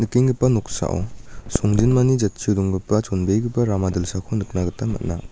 nikenggipa noksao songjinmani jatchio donggipa chonbegipa rama dilsako nikna gita man·a.